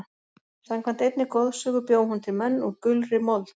Samkvæmt einni goðsögu bjó hún til menn úr gulri mold.